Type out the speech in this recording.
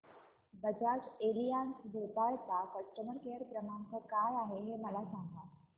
Bajaj Allianz Bhopal चा customer care क्रमांक काय आहे मला सांगा